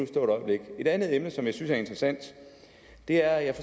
stå et øjeblik et andet emne som jeg synes er interessant er at jeg